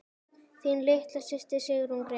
Þín litla systir, Sigrún Gréta.